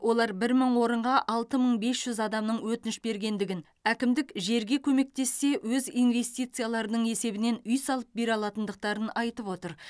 олар бір мың орынға алты мың бес жүз адамның өтініш бергендігін әкімдік жерге көмектессе өз инвестицияларының есебінен үй салып бере алатындықтарын айтып отыр